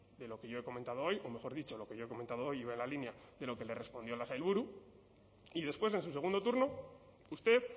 de lo que yo he comentado hoy o mejor dicho lo que yo he comentado hoy iba en la línea de lo que le respondió la sailburu y después en su segundo turno usted